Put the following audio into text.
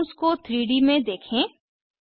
compounds को 3 D में देखें